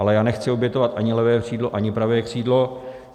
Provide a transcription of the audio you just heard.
Ale já nechci obětovat ani levé křídlo, ani pravé křídlo.